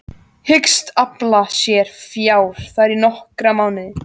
Hyggst afla sér fjár þar í nokkra mánuði.